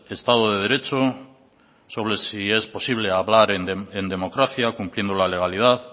estado de derecho sobre si es posible hablar en democracia cumpliendo la legalidad